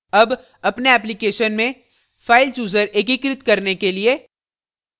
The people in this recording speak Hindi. अब अपने application में filechooser एकीकृत करने के लिए